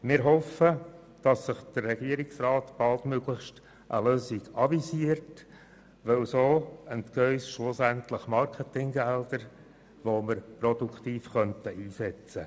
Wir hoffen, dass der Regierungsrat baldmöglichst eine Lösung anvisiert, denn so entgehen uns schlussendlich Marketinggelder, die wir produktiv einsetzen könnten.